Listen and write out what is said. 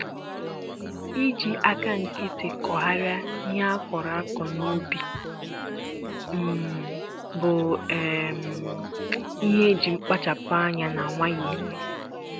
iji aka nkịtị kugharịa ihe a kọrọ a kọrọ n'ubi um bụ um ihe e ji mkpachapu ányá na nwayọ eme